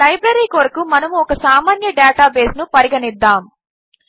ఒక లైబ్రరీ కొరకు మనము ఒక సామాన్య డేటాబేస్ను పరిగణిద్దాం